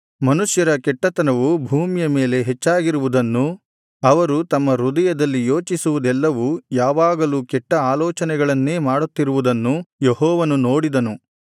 ಮನುಷ್ಯರ ಕೆಟ್ಟತನವು ಭೂಮಿಯ ಮೇಲೆ ಹೆಚ್ಚಾಗಿರುವುದನ್ನೂ ಅವರು ತಮ್ಮ ಹೃದಯದಲ್ಲಿ ಯೋಚಿಸುವುದೆಲ್ಲವು ಯಾವಾಗಲೂ ಕೆಟ್ಟ ಆಲೋಚನೆಗಳನ್ನೇ ಮಾಡುತ್ತಿರುವುದನ್ನು ಯೆಹೋವನು ನೋಡಿದನು